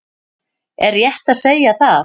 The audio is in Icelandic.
Er rétt að segja það?